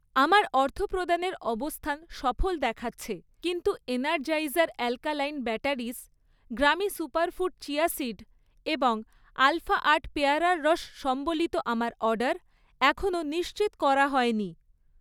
আমার অর্থপ্রদানের অবস্থান সফল দেখাচ্ছে, কিন্তু এনারজাইজার অ্যাল্ক্যালাইন ব্যাটারি্স, গ্রামি সুপারফুড চিয়া সীড এবং আলফা আট পেয়ারার রস সম্বলিত আমার অর্ডার এখনও নিশ্চিত করা হয়নি